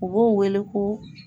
U b'o wele ko